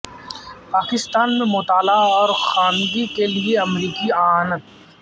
پاکستان میں مطالعہ اور خواندگی کے لیے امریکی اعانت